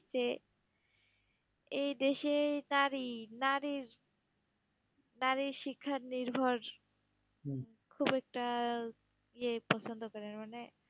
যে এই দেশে নারী, নারীর নারীর শিক্ষার নির্ভর খুব একটা ইয়ে গ্রহনযোগ্য না মানে,